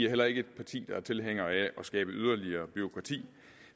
heller ikke et parti der er tilhængere af at skabe yderligere bureaukrati